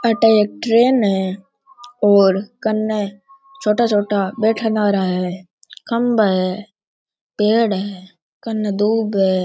आठे एक ट्रैन है और कन्ने छोटा छोटा बैठन आरा है खम्भा है पेड़ है कन्ने दूब है।